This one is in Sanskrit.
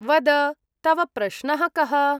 वद, तव प्रश्नः कः?